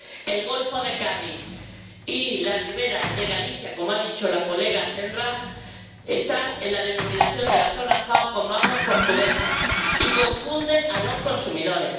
el golfo de Cádiz y la ribera de Galicia, como ha dicho la colega Senra, están en la denominación de la zona FAO como aguas portuguesas, y confunde a los consumidores.